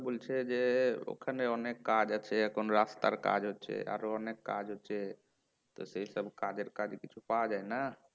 বলছে যে ওখানে অনেক কাজ আছে এখন রাস্তার কাজ হচ্ছে আরও অনেক কাজ হচ্ছে তো সেইসব কাজের কাজ কিছু পাওয়া যায়না